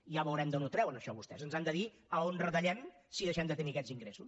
ja veurem d’on ho treuen això vostès ens han de dir a on retallem si deixem de tenir aquests ingressos